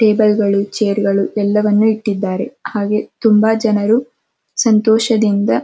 ಟೇಬಲ್ಗ ಳು ಚೇರ್ ಗಳು ಎಲ್ಲವನ್ನು ಇಟ್ಟಿದಾರೆಹಾಗೆ ತುಂಬ ಜನರು ಸಂತೋಷದಿಂದ --